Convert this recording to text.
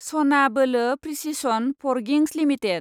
सना बोलो precision forgings limited